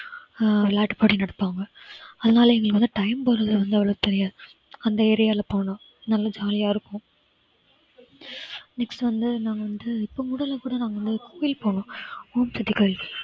அஹ் விளையாட்டுப்போட்டி நடத்துவாங்க அதனால வந்து எங்களுக்கு time போறது வந்து அவ்வளவா தெரியாது அந்த area ல போனா நல்ல jolly யா இருக்கும். next வந்து நான் வந்து இப்ப கூட வந்து போனோம் ஓம் சக்தி கோயிலுக்கு